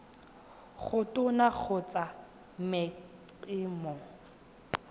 go tona kgotsa mec mo